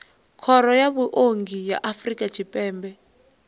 khoro ya vhuongi ya afrika tshipembe